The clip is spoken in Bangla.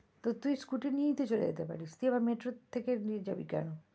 তো তুই scooty নিয়েই তো চলে যেতে পারিস তুই আবার metro থেকে দিয়ে যাবি কোনো?